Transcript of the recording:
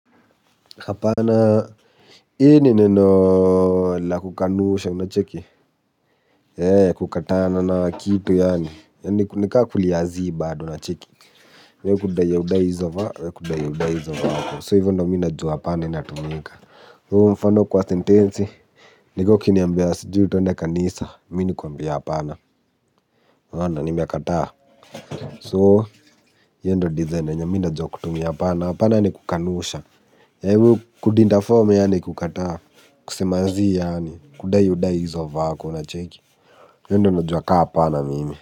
Apana, hiyo ni neno la kukanusha unacheki He kukataana na kitu yani. Nika kulia zii bado unacheki. We kudai audai hizo va, we kudai audai hizo vako So hivyo ndo mi najua apana inatumika. Uo mfano kwa sentensi niko ukiniambia sijui twende kanisa. Mi nikuambie apana. Wanda nimiakata So, yendo nizenda nyo minajua kutumia apana. Apana ni kukanusha He kudintaforma yani kukata kusemazi yaani kudayi udayi izo vako na cheki yendo najuwa ka apana mimi.